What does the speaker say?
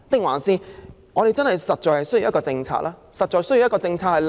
還是我們實在需要有務實的政策？